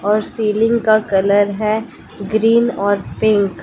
और सीलिंग का कलर है ग्रीन और पिंक --